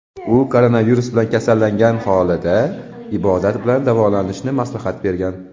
U koronavirus bilan kasallangan aholiga ibodat bilan davolanishni maslahat bergan.